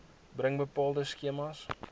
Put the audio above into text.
bring bepaalde skemas